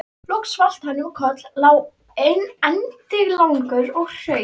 Loks valt hann um koll, lá endilangur og hraut.